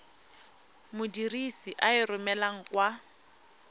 modirisi a e romelang kwa